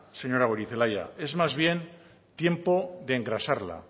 señora goirizelaia es más bien tiempo de engrasarla